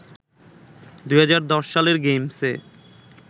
২০১০ সালের গেমসে